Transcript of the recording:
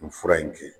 Nin fura in kɛ